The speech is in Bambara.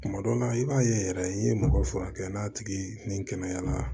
Tuma dɔw la i b'a ye yɛrɛ i ye mɔgɔ furakɛ n'a tigi ni kɛnɛyara